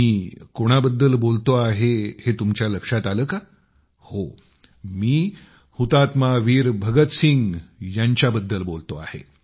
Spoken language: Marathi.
मी कोणाबद्दल बोलतो आहे हे तुमच्या लक्षात आले का हो मी शहीद वीर भगतसिंग यांच्या बद्दल बोलतो आहे